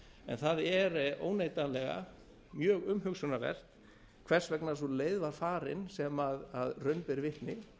en það er óneitanlega mjög umhugsunarvert hvers vegna sú leið var farin sem raun ber vitni